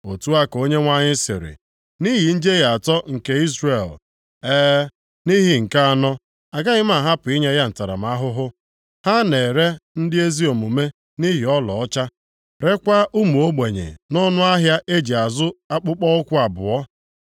Otu a ka Onyenwe anyị sịrị, “Nʼihi njehie atọ nke Izrel, e, nʼihi nke anọ, agaghị m ahapụ inye ya ntaramahụhụ. Ha na-ere ndị ezi omume nʼihi ọlaọcha, reekwa ụmụ ogbenye nʼọnụ ahịa e ji azụ akpụkpọụkwụ abụọ.